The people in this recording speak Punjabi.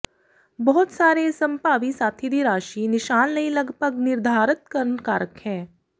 ਬਹੁਤ ਸਾਰੇ ਸੰਭਾਵੀ ਸਾਥੀ ਦੀ ਰਾਸ਼ੀ ਨਿਸ਼ਾਨ ਲਈ ਲਗਭਗ ਨਿਰਧਾਰਤ ਕਰਨ ਕਾਰਕ ਹੈ